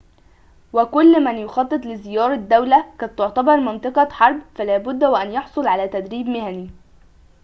وكل من يخطط لزيارة دولة قد تعتبر منطقة حرب فلابد وأن يحصل على تدريب مهني